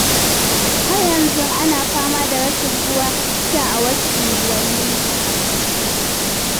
Har yanzu ana fama da rashin ruwan sha a wasu unguwanni.